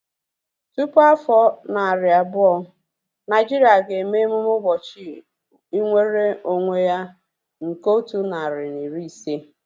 Tupu afọ narị abụọ, Naijiria ga-eme emume ụbọchị nwere onwe ya nke otu narị na iri ise